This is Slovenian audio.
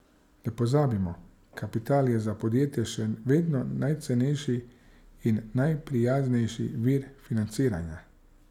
Ne pozabimo, kapital je za podjetja še vedno najcenejši in najprijaznejši vir financiranja.